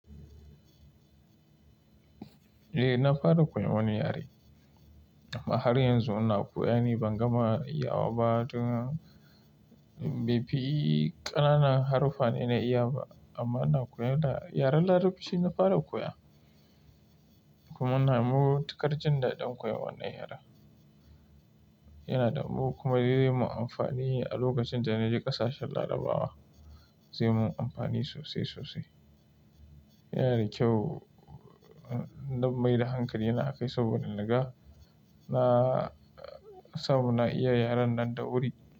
Eh, na fara koyon wani yare amma har yanzu ina koya ne, ban gama iya wa ba. Tun bai fi ƙanana haruffa ne na iya ba amma ina koya da yaren Larabci na fara koya. Kuma ina mugu takarcin da ɗan koyon wannan yare. Yana da mugu kuma zai yi mun amfani a lokacin da na je ƙasashen Larabawa zai yi mun amfani sosai sosai. Yana da kyau, na mai da hankali na kai saboda naga na samu na iya yaren nan da wuri.